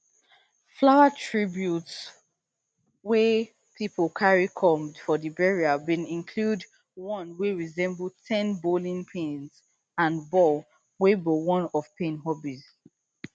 flower tributes wey pipo carry come for di burial bin include one wey resemble ten bowling pins and ball wey be one of payne hobbies